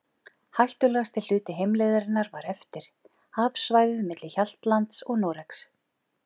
Hættulegasti hluti heimleiðarinnar var eftir, hafsvæðið milli Hjaltlands og Noregs.